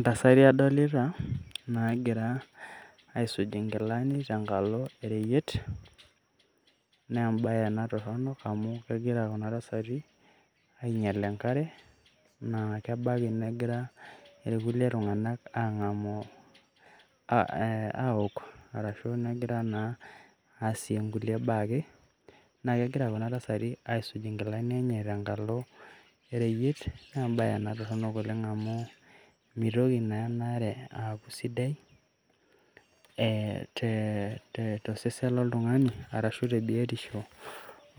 Ntasati adolita naagira aisuj inkilani tenkalo oreyiet naa ebae ena torono amu kegira kuna tasati ainyal enkare naa kebaki negira irkulie tung'anak ang'amu awok arashu negira naa aasie nkulie baa ake, naaake egira kuna tasati aisuj nkilani enye tenkalo ereyiet nee embae ena toronok oleng' amu mitoki naa ena are aaku sidai ee te to sesen loltung'ani arashu te biotisho